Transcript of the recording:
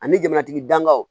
Ani jamanatigi dagaw